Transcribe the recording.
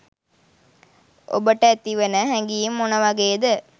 ඔබට ඇතිවන හැඟීම මොන වගේද?